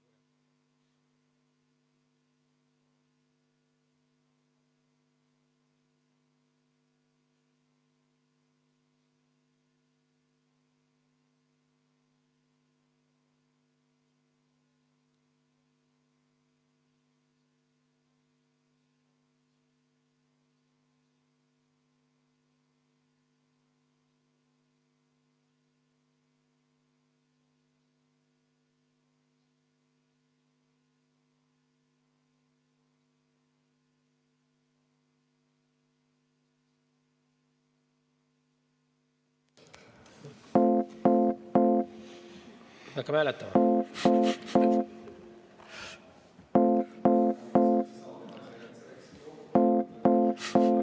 V a h e a e g